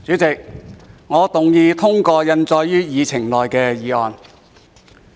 主席，我動議通過印載於議程內的議案。